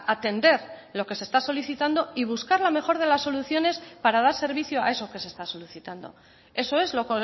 atender lo que se está solicitando y buscar la mejor de las soluciones para dar servicio a eso que se está solicitando eso es lo